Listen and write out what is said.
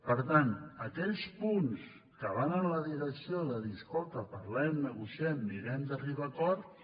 per tant aquells punts que van en la direcció de dir escolta parlem negociem mirem d’arribar a acords